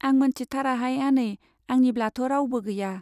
आं मोनथिथाराहाय आनै, आंनिब्लाथ' रावबो गैया।